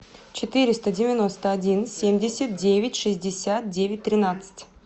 четыреста девяносто один семьдесят девять шестьдесят девять тринадцать